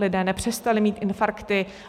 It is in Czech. Lidé nepřestali mít infarkty.